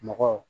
Mɔgɔw